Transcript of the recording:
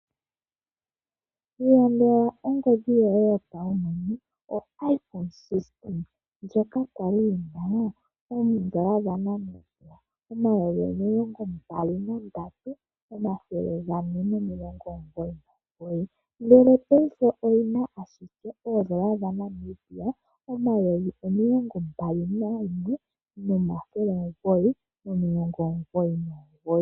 Sindana ongodhi yoye yopeke yoiPhone 16 ndjoka ya li yi na N$ 23 499, ihe paife oyi na ashike ooN$ 21 999.